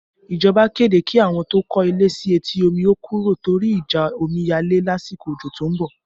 Ìjọba kéde kí àwọn tó kọ́ ilé sí etí omi ó kúrò torí ìjà omiyale lásìkò ojo tó ń bọ̀